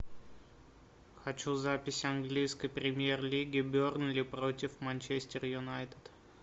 хочу запись английской премьер лиги бернли против манчестер юнайтед